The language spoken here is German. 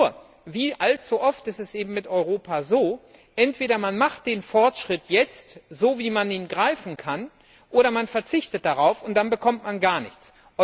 Nur wie allzu oft ist es eben mit Europa so Entweder man macht den Fortschritt jetzt so, wie man ihn greifen kann, oder man verzichtet darauf, dann bekommt man gar nichts.